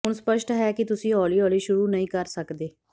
ਹੁਣ ਸਪੱਸ਼ਟ ਹੈ ਕਿ ਤੁਸੀਂ ਹੌਲੀ ਹੌਲੀ ਸ਼ੁਰੂ ਨਹੀਂ ਕਰ ਸਕਦੇ